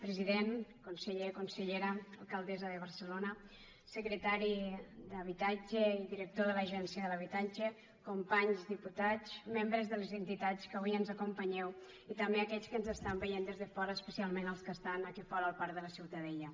president conseller consellera alcaldessa de barcelona secretari d’habitatge i director de l’agència de l’habitatge companys diputats membres de les entitats que avui ens acompanyeu i també aquells que ens estan veient des de fora especialment els que estan aquí fora al parc de la ciutadella